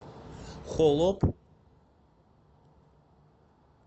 холоп